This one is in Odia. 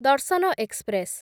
ଦର୍ଶନ ଏକ୍ସପ୍ରେସ୍